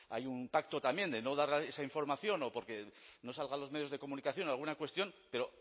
hay un pacto también de no dar esa información o porque no salga a los medios de comunicación en alguna cuestión pero